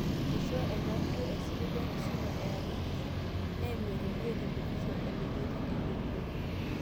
Eishoo ena jurro esipil enkisuma eatua nkishu, naimu eradio o televishen onemetii enelio.